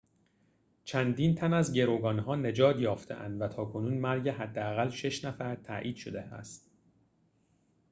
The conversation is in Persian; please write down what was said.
چندین تن از گروگان‌ها نجات یافته‌اند و تاکنون مرگ حداقل شش نفر تایید شده است